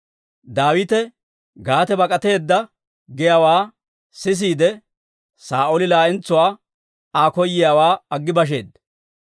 «Daawite Gaate bak'ateedda» giyaawaa sisiide, Saa'ooli laa"entsuwaa Aa koyiyaawaa aggi basheedda.